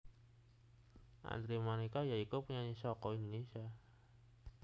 Andre Manika ya iku penyanyi saka Indonésia